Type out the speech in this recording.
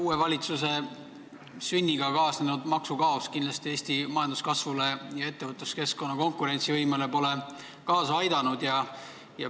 Uue valitsuse sünniga kaasnenud maksukaos ei ole kindlasti Eesti majanduskasvule ja ettevõtluskeskkonna konkurentsivõimele kaasa aidanud.